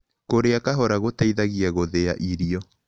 Kũrĩa kahora gũteĩthagĩa gũthĩĩa irio